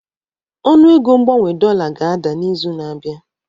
Ọnụego mgbanwe dollar ga-ada n'izu na-abịa